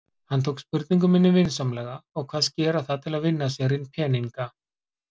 Hann tók spurningu minni vinsamlega og kvaðst gera það til að vinna sér inn peninga.